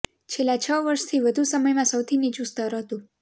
છેલ્લા છ વર્ષથી વધુ સમયમાં સૌથી નીચું સ્તર હતું